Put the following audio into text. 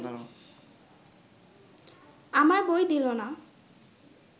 আমার বই দিল না